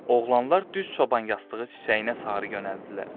Oğlanlar düz çoban yastığı çiçəyinə sarı yönəldilər.